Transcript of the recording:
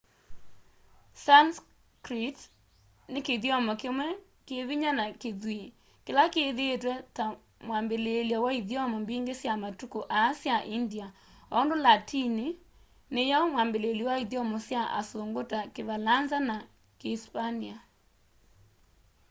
sanskrit ni kithyomo kimwe kivinya na kithw'ii kila kithiitwe ta mwabiliilyo wa ithyomo mbingi sya matuku aa sya india o undu latini niyo mwambiliilyo wa ithyomo sya asungu ta kivalanza na kiisipania